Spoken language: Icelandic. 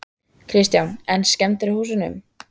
Kristján: En skemmdir á húsum?